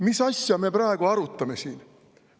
Mis asja me praegu arutame siin?